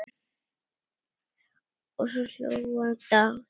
Og svo hló hann dátt!